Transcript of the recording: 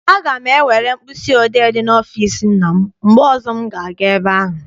Aga m ewere mkpịsị odee dị n'ọfịịsi nna m mgbe ọzọ m ga- aga ebe ahụ.